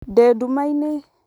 dĩ ndũmainĩ